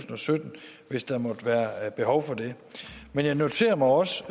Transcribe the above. og sytten hvis der måtte være behov for det men jeg noterer mig også